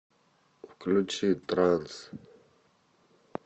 включи транс